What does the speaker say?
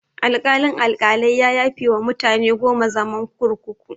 Alkalin-Alkalai ya yafewa mutane goma zaman kurkuku.